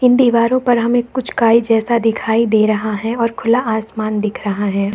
इन दीवारों पर हमें कुछ काई जैसा दिखाई दे रहा है और खुला आसमान दिख रहा है।